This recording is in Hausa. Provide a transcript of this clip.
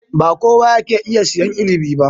Ba kowa yake iya sayen inibi ba.